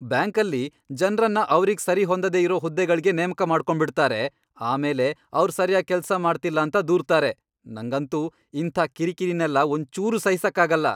ಬ್ಯಾಂಕಲ್ಲಿ ಜನ್ರನ್ನ ಅವ್ರಿಗ್ ಸರಿಹೊಂದದೇ ಇರೋ ಹುದ್ದೆಗಳ್ಗೆ ನೇಮಕ ಮಾಡ್ಕೊಂಡ್ಬಿಡ್ತಾರೆ, ಆಮೇಲೆ ಅವ್ರ್ ಸರ್ಯಾಗ್ ಕೆಲ್ಸ ಮಾಡ್ತಿಲ್ಲ ಅಂತ ದೂರ್ತಾರೆ, ನಂಗಂತೂ ಇಂಥ ಕಿರಿಕಿರಿನೆಲ್ಲ ಒಂಚೂರೂ ಸಹಿಸಕ್ಕಾಗಲ್ಲ.